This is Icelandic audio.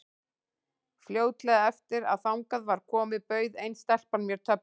Fljótlega eftir að þangað var komið bauð ein stelpan mér töflu.